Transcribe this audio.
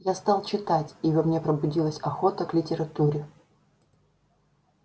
я стал читать и во мне пробудилась охота к литературе